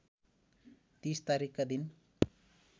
३० तारिखका दिन